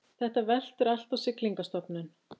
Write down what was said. Þetta veltur allt á Siglingastofnun